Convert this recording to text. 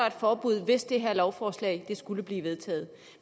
et forbud hvis det her lovforslag skulle blive vedtaget